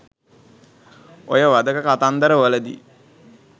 ඔය වධක කතන්දර වලදි